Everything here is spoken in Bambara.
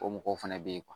O mɔgɔw fɛnɛ bɛ ye